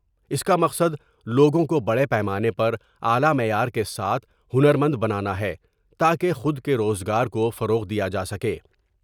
اس کا مقصد لوگوں کو بڑے پیمانے پر اعلی معیار کے ساتھ ہنرمند بنانا ہے تا کہ خود کے روز گارکوفروغ دیا جا سکے ۔